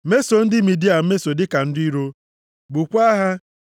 “Mesoo ndị Midia mmeso dịka ndị iro. Gbukwaa ha.